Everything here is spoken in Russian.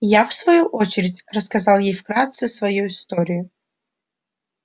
я в свою очередь рассказал ей вкратце свою историю